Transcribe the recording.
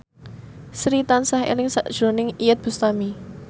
Sri tansah eling sakjroning Iyeth Bustami